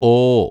ഓ